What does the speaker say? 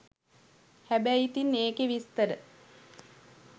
හැබැයි ඉතිං ඒකේ විස්තර